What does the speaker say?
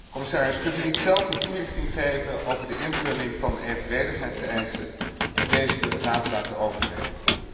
Commissaris, kunt u niet zelf een toelichting geven over de invulling van de evenredigheidseisen en deze door de Raad laten overnemen?